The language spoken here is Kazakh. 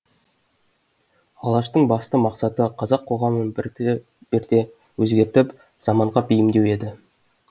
алаштың басты мақсаты қазақ қоғамын бірті бірте өзгертіп заманға бейімдеу еді